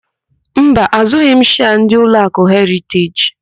Mba, àzụ́ghị m shịas ndị Ụlọakụ Heriteji.